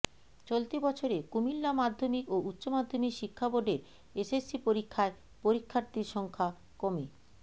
চলতি বছরে কুমিল্লা মাধ্যমিক ও উচ্চমাধ্যমিক শিক্ষা বোর্ডের এসএসসি পরীক্ষায় পরীক্ষার্থীর সংখ্যা কমে